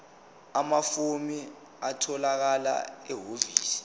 amafomu atholakala ehhovisi